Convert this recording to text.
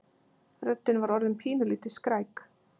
Röddin var orðin pínulítið skræk.